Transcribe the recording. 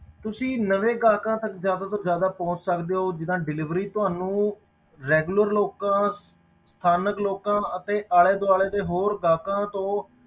ਤੁਸੀਂ ਨਵੇਂ ਗਾਹਕਾਂ ਤੱਕ ਜ਼ਿਆਦਾ ਤੋਂ ਜ਼ਿਆਦਾ ਪਹੁੰਚ ਸਕਦੇ ਹੋ ਜਿੱਦਾਂ delivery ਤੁਹਾਨੂੰ regular ਲੋਕਾਂ ਸਥਾਨਕ ਲੋਕਾਂ ਅਤੇ ਆਲੇ ਦੁਆਲੇ ਦੇ ਹੋਰ ਗਾਹਕਾਂ ਤੋਂ,